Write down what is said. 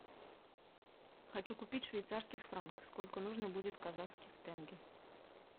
хочу купить швейцарский франк сколько нужно будет казахских тенге